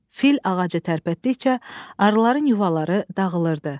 Fil ağacı tərpətdikcə arıların yuvaları dağılırdı.